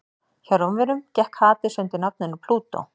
hjá rómverjum gekk hades undir nafninu plútó